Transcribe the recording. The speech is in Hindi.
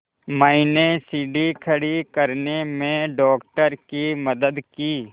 मैंने सीढ़ी खड़े करने में डॉक्टर की मदद की